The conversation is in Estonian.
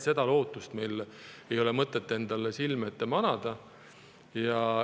Seda lootust ei ole meil mõtet endale silme ette manada.